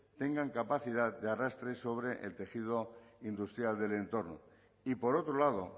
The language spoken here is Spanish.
tengan capacidad de arrastre sobre el tejido industrial del entorno y por otro lado